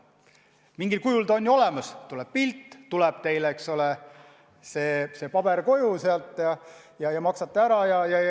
Mingil kujul ta on olemas: teile tuleb pilt, teile tuleb paber koju ja te maksate ära.